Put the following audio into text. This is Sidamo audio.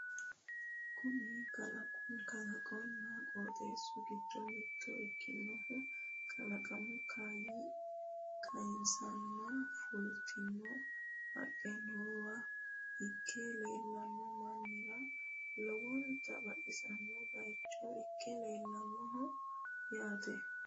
kuni kalaqonna qoxeesu giddo mitto ikkinohu kalaqamunna kayiinseenna fultino haqqe noowa ikke la"anno mannira lowonta baxisanno bayiicho ikke leellannoho yaate